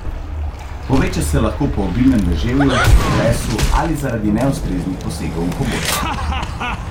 Poveča se lahko po obilnem deževju, potresu ali zaradi neustreznih posegov v pobočja.